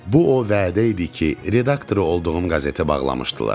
Bu o vədə idi ki, redaktoru olduğum qəzeti bağlamışdılar.